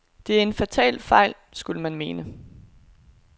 Det er en fatal fejl skulle man mene.